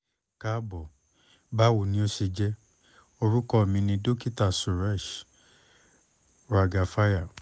kaabọ bawo ni o ṣe jẹ? orukọ mi ni dokita suresh raghavaiah